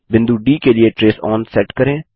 बिंदु डी के लिए ट्रेस ओन सेट करें